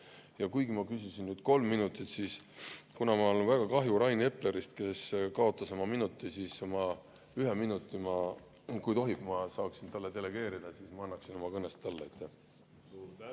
Ja kuigi ma küsisin kolm minutit, siis, kuna mul on väga kahju Rain Eplerist, kes kaotas ühe oma minuti, kui tohib ja ma saaksin talle delegeerida, ma annaksin oma kõnest talle.